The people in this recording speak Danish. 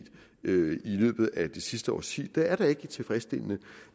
løbet af det sidste årti det er da ikke tilfredsstillende